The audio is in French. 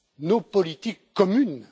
nos politiques communes.